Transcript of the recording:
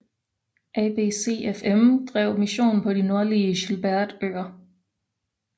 ABCFM drev mission på de nordlige Gilbertøer